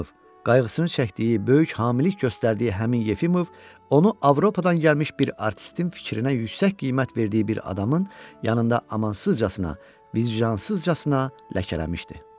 Yefimov, qayğısını çəkdiyi, böyük hamilik göstərdiyi həmin Yefimov onu Avropadan gəlmiş bir artistin fikrinə yüksək qiymət verdiyi bir adamın yanında amansızcasına, vijdanısızcasına ləkələmişdi.